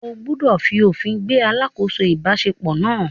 O gbúdọ̀ fi òfin gbé “ alákòóso ìbáṣepọ̀ ” náà.